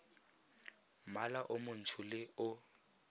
mmala o montsho le o